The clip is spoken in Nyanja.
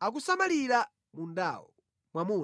akusamalira mundawo.